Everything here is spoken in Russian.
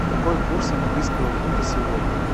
какой курс английского фунта сегодня